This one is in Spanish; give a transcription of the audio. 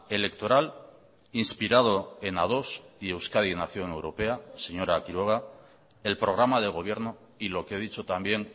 electoral inspirado en ados y euskadi nación europea señora quiroga el programa de gobierno y lo que he dicho también